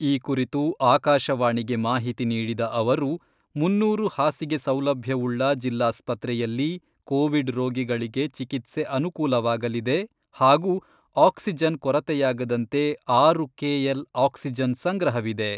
ಈ ಕುರಿತು ಆಕಾಶವಾಣಿಗೆ ಮಾಹಿತಿ ನೀಡಿದ ಅವರು, ಮುನ್ನೂರು ಹಾಸಿಗೆ ಸೌಲಭ್ಯವುಳ್ಳ ಜಿಲ್ಲಾಸ್ಪತ್ರೆಯಲ್ಲಿ ಕೋವಿಡ್ ರೋಗಿಗಳಿಗೆ ಚಿಕಿತ್ಸೆ ಅನುಕೂಲವಾಗಲಿದೆ ಹಾಗೂ ಆಕ್ಸಿಜನ್ ಕೊರತೆಯಾಗದಂತೆ ಆರು ಕೆಎಲ್ ಆಕ್ಸಿಜನ್ ಸಂಗ್ರಹವಿದೆ.